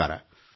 ನಮಸ್ಕಾರ